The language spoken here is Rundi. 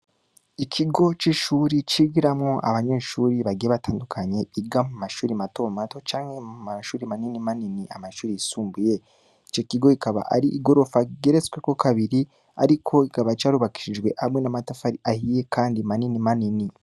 Ikigo c'ishure cigiramwo abanyeshure bagiye batandukanye, biga mu mashure matomato canke mu mashure manini manini, amashure yisumbuye, ico kigo kikaba ari igorofa rigeretsweko kabiri ariko kikaba carubakishijwe hamwe n'amatafari ahiye kandi manini manini.